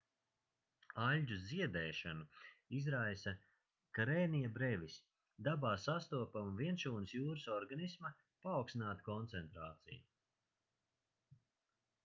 aļģu ziedēšanu izraisa karenia brevis dabā sastopama vienšūnas jūras organisma paaugstināta koncentrācija